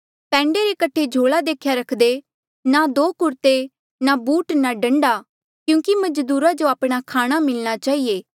पैंडे रे कठे झोला देख्या रखदे ना दो कुरते ना बूट ना डंडा क्यूंकि मजदूरा जो आपणा खाणा मिलणा चहिए